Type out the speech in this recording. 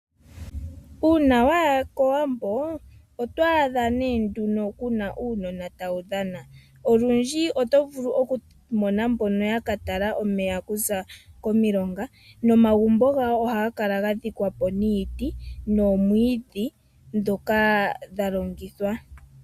Uuna waya kOwambo, oto adha nee nduno kuna uunona tawu dhana, olundji oto vulu oku mona mbono yaka tala omeya kuza komilonga, nomagumbo gawo ohaga kala gadhikwa po niiti noomwiidhi ndhoka dha longithwa.